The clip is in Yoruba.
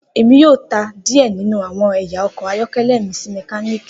Emi yoo ta diẹ ninu awọn ẹya ọkọ ayọkẹlẹ mi si mekaniki.